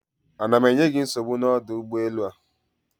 Ana m enye gị nsogbu n'ọdụ ụgbọelu a?